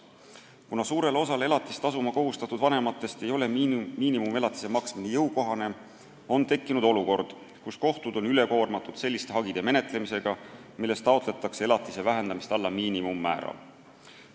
Kuna suurele osale elatist tasuma kohustatud vanematest ei ole miinimumelatise maksmine jõukohane, on tekkinud olukord, kus kohtud on ülekoormatud selliste hagide menetlemisega, milles taotletakse elatise vähendamist alla miinimummäära.